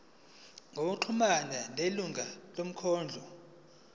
ngokuxhumana nelungu lomkhandlu